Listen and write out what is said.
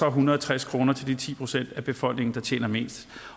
hundrede og tres kroner til de ti procent af befolkningen der tjener mest